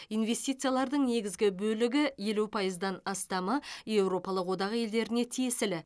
инвестициялардың негізгі бөлігі елу пайыздан астамы еуропалық одақ елдеріне тиесілі